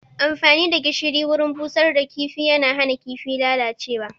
Amfani da gishiri wurin busar da kifi yana hana kifin lalacewa